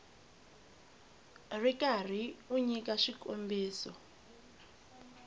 ri karhi u nyika swikombiso